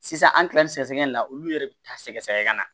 Sisan an kila ni sɛgɛsɛgɛli in na olu yɛrɛ bi taa sɛgɛsɛgɛ ka na